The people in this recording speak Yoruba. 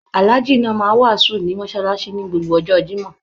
Alhaji náà máa n wàásù ní mọsálásí ní gbogbo ọjọ́ Jimoh.